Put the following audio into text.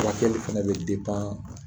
Furakɛliw fana bɛ